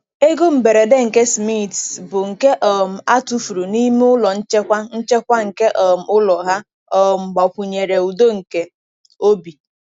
Ego mberede nke Smiths, bụ nke um a tụfuru n'ime ụlọ nchekwa nchekwa nke um ụlọ ha, um gbakwunyere udo nke obi.